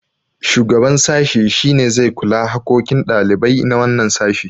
shugaban sashi shi ne zai kula hakokin ɗalibai na wannan sashi